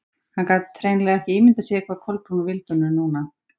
Hann gat hreinlega ekki ímyndað sér hvað Kolbrún vildi honum núna.